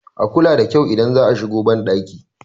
a kula da kyau idan za a shigo bandaki